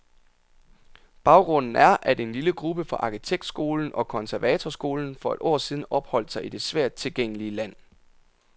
Baggrunden er, at en lille gruppe fra arkitektskolen og konservatorskolen for et år siden opholdt sig i det svært tilgængelige land.